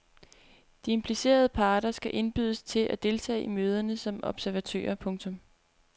De implicerede parter skal indbydes til at deltage i møderne som observatører. punktum